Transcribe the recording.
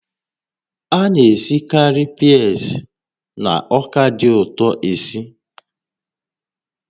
A na-esikarị peas na ọka dị ụtọ esi